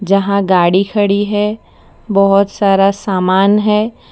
जहां गाड़ी खड़ी है बहोत सारा सामान है।